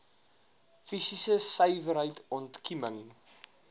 fisiese suiwerheid ontkieming